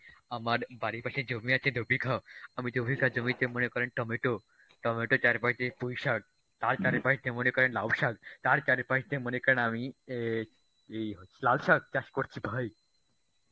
আমার বাড়ির পাশে জমি আছে দু-বিঘা আমি জমির কাজ জমিতে মনে করেন টমেটো, টমেটোর চারপাশ দিয়ে পুঁইশাক তার চারিপাশ দিয়ে মনে করেন লাউ শাক তার চারি পাশ দিয়ে মনে করেন আমি এ ই লাল শাক চাষ করছি ভাই.